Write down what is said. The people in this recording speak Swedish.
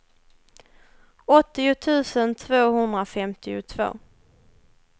åttio tusen tvåhundrafemtiotvå